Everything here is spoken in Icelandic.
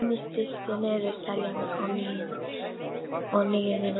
Ninja, stilltu niðurteljara á níutíu og níu mínútur.